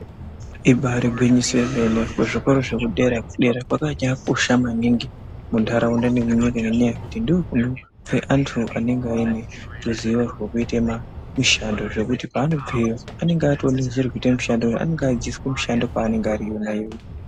Imba irigwinyiso remene, muzvikora zvepadera kwakachakosha maningi muntaraunda mwetinogara nekunyika ino ngekuti ndokunobve antu aneruzivo rwekuite mishando, zvekuti paanobveyo anonge atove neruzivo rwekuite mishando, anonga achiitiswa mushando kwaanonga ari yonaiyoyo.